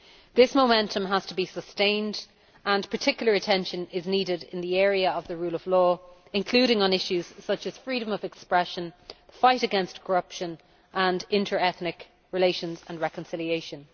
This momentum has to be sustained, and particular attention is needed in the area of the rule of law, including on issues such as freedom of expression, the fight against corruption and inter ethnic relations and reconciliation.